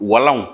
Walanw